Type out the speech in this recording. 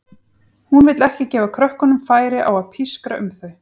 Hún vill ekki gefa krökkunum færi á að pískra um þau.